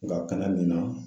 Nga ka na nin na